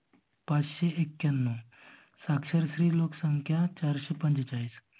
पाचशे एक्क्यानव साक्षर स्त्री लोक संख्या चारशे पंचेचाळीस.